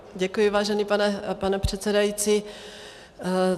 Děkuji, vážený pane předsedající.